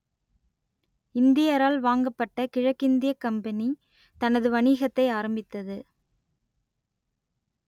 இந்தியரால் வாங்கப்பட்ட கிழக்கிந்தியக் கம்பனி தனது வணிகத்தை ஆரம்பித்தது